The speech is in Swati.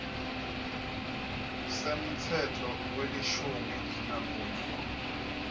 semtsetfo welishumi nakunye